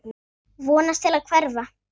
Vonast til að hverfa.